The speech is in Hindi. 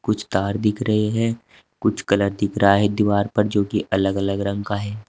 कुछ तार दिख रहे हैं कुछ गलत दिख रहा है दीवार पर जो की अलग अलग रंग का है।